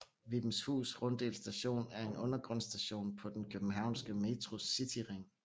Vibenshus Runddel Station er en undergrundsstation på den københavnske Metros cityring